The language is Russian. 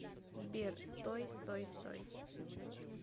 сбер стой стой стой